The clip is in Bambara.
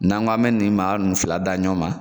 N'an k'an bɛ nin maa ninnu fila da ɲɔgɔn ma